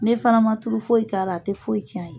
N'e fana ma tulu foyi k'a la a te foyi tiɲ'a ye.